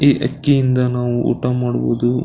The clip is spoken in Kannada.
ಈ ಅಕ್ಕಿಯಿಂದ ನಾವು ಊಟ ಮಾಡಬಹುದು.